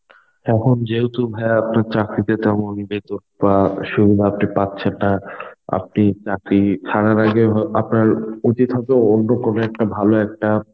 এখন যেহেতু ভাই আপনার চাকরিতে তেমনই বেতন বাহঃ সুবিধা আপনি পাচ্ছেন না. আপনি চাকরি ছাড়ার আগে অ্যাঁ আপনার উচিত হয়তো অন্য কোন একটা ভালো একটা